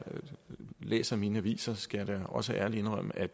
læser mine aviser skal jeg da også ærligt indrømme at